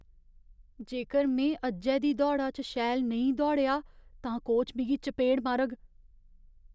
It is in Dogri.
जेकर में अज्जै दी दौड़ा च शैल नेईं दौड़ेआ तां कोच मिगी चपेड़ मारग।